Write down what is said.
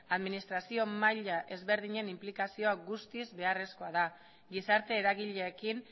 administrazio maila desberdinen inplikazio guztiz beharrezkoa da gizarte eragileekin